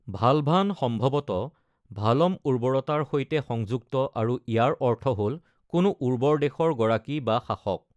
ভালভান সম্ভৱতঃ ভালম-উৰ্বৰতাৰ সৈতে সংযুক্ত আৰু ইয়াৰ অৰ্থ হ’ল কোনো উৰ্বৰ দেশৰ গৰাকী বা শাসক।